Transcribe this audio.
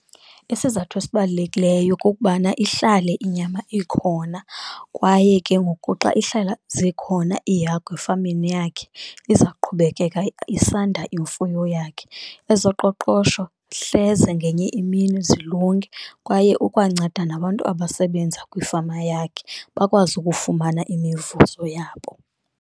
Isizathu esibalulekileyo kukubana ihlale inyama ikhona, kwaye ke ngoku xa ihlala zikhona iihagu efameni yakhe iza kuqhubekeka isanda imfuyo yakhe, ezoqoqosho hleze ngenye imini zilunge. Kwaye ukwanceda nabantu abasebenza kwifama yakhe bakwazi ukufumana imivuzo yabo.